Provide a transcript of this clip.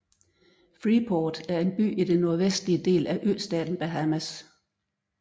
Freeport er en by i den nordvestlige del af østaten Bahamas